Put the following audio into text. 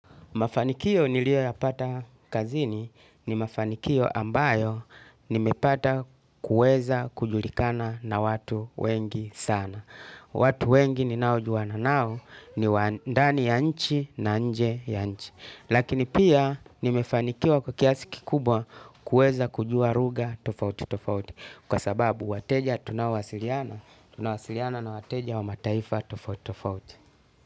Mafanikio niliyoyapata kazini ni mafanikio ambayo nimepata kuweza kujulikana na watu wengi sana. Watu wengi ni nao juana nao ni waandani ya nchi na nje ya nchi. Lakini pia nimefanikio kwa kiasi kikubwa kuweza kujua lugha tofauti tofauti. Kwa sababu wateja tunaowasiliana tunawasiliana na wateja wa mataifa tofauti tofauti.